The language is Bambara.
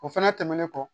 O fɛnɛ tɛmɛnen kɔ